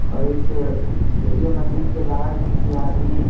और इस ATM machine के बाहर किसी आदमी --